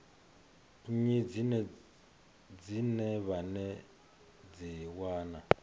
nnyi dzine vha dzi wana